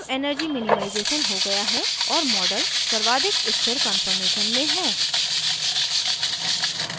अब energy minimization हो गया है और model सर्वाधिक स्थिर कान्फॉर्मेशन में है